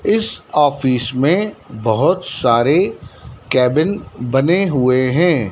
इस ऑफिस में बहोत सारे केबिन बने हुए हैं।